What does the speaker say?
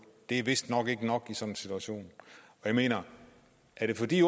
det er vistnok ikke nok i sådan en situation jeg mener er det fordi